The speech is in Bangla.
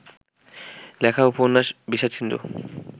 লেখা উপন্যাস বিষাদসিন্ধু